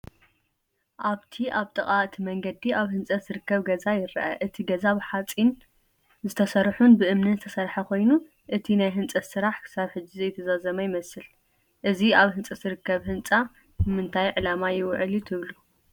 ኣብቲ ኣብ ጥቓ እቲ መንገዲ ኣብ ህንፀት ዝርከብ ገዛ ይርአ። እቲ ገዛ ብሓጺን ዝተሰርሑን ብእምንን ዝተሰርሐ ኮይኑ፡ እቲ ናይ ህንጸት ስራሕ ክሳብ ሕጂ ዘይተዛዘመ ይመስል። እዚ ኣብ ህንጸት ዝርከብ ህንጻ ንእንታይ ዕላማ ክውዕል እዩ ትብሉ?